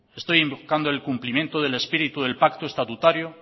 estoy invocando el incumplimiento del espíritu del pacto estatutario